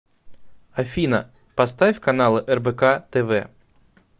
афина поставь каналы рбк тв